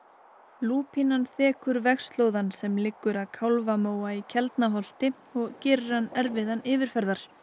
lúpínan þekur vegarslóðann sem liggur að í Keldnaholti og gerir hann erfiðan yfirferðar